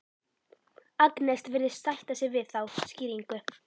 Agnes virðist sætta sig við þá skýringu.